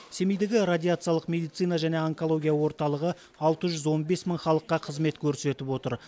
семейдегі радиациялық медицина және онкология орталығы алты жүз он бес мың халыққа қызмет көрсетіп отыр